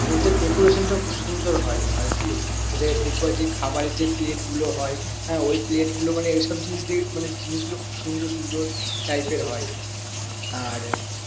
ওদের decoration টা খুব সুন্দর হয় আর কি ওদের দেখবে যে খাবারের যে plate গুলো হয় হ্যাঁ ওই plate গুলো মানে ওই সব জিনিস মানে জিনিস গুলো খুব সুন্দর সুন্দর type এর হয়। আর